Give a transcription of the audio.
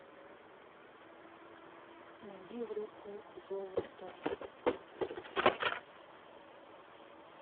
найди группу золото